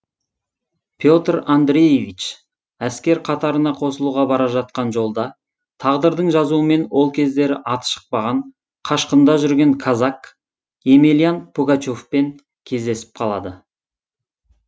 петр андреевич әскер қатарына қосылуға бара жатқан жолда тағдырдың жазуымен ол кездері аты шықпаған қашқында жүрген казак емельян пугачевпен кездесіп қалады